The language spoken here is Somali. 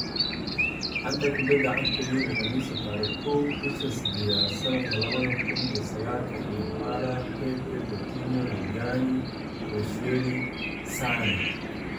Xanta Kubadda Cagta Yurub Khamiista tariq kow bisha sidedad sanadka labada kun iyo sagalka Dybala, Pepe, Coutinho, Rugani, Koscielny, Sane